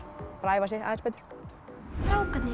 æfa sig aðeins betur strákarnir